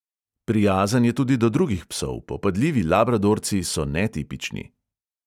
Prijazen je tudi do drugih psov, popadljivi labradorci so netipični.